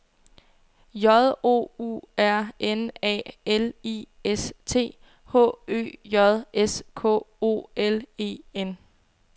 J O U R N A L I S T H Ø J S K O L E N